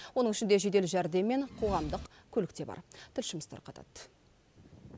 оның ішінде жедел жәрдем мен қоғамдық көлік те бар тілшіміз тарқатады